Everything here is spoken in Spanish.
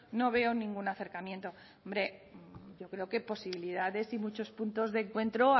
no veo ningún acercamiento hombre yo creo que posibilidades y muchos puntos de encuentro